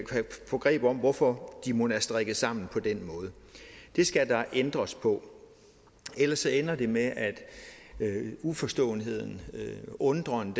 få greb om hvorfor de mon er strikket sammen på den måde det skal der ændres på ellers ender det med at uforståenheden undren